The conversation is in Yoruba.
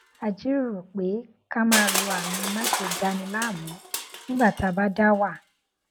a jíròrò pé ká máa lo àmì máṣe dani láàmú nígbà tá a bá dá wà